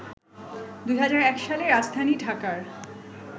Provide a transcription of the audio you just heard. ২০০১ সালে রাজধানী ঢাকার